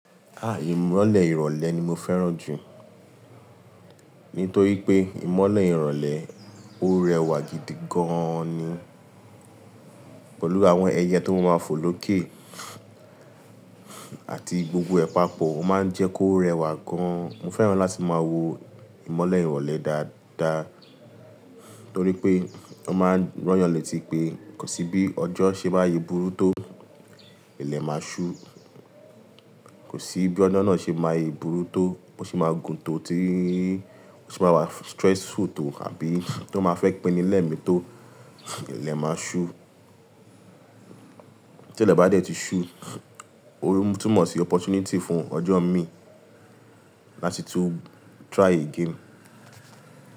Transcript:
Ah! Ìmọ́lẹ̀ ìrọ̀lẹ́ ni mo fẹ́ràn jù. Nitoripe imole irole, o rewa gidi gan ni pelu awon eye to ma ma fo loke. Àti gbogbo ẹ̀pàpọ̀ ó máa ń jẹ́ kó rẹwà gan. Mo fẹ́ràn láti máa wo ìmọ́lẹ̀ ìrọ̀lẹ́ dáadáa torí pé o máa ń rọ́yàn lẹ́ti pé kò sí bí ọjọ́ ṣe máa yi burú tó ilẹ̀ máa ṣú. Kò sí bí ọjo náà ṣe máa yi burú tó, bo se máa gun tó ti, bo se máa wà stressful tó àbí tó máa fẹ́ pín ni lẹ́mi tó ilẹ̀ máa ṣú. Tile ba de ti su, o tunmo si opportunity fun ojo mii lati tun try again.